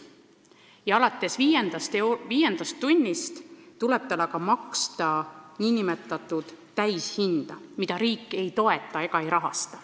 Ja alates viiendast tunnist tuleb maksta nn täishinda, mida riik ei kompenseeri.